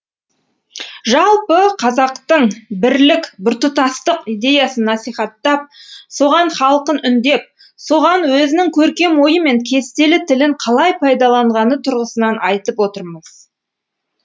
жалпы қазақтық бірлік біртұтастық идеясын насихаттап соған халқын үндеп соған өзінің көркем ойы мен кестелі тілін қалай пайдаланғаны тұрғысынан айтып отырмыз